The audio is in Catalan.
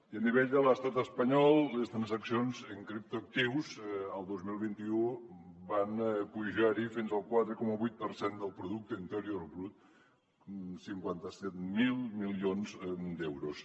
i a nivell de l’estat espanyol les transaccions en criptoactius el dos mil vint u van pujar fins al quatre coma vuit per cent del producte interior brut cinquanta set mil milions d’euros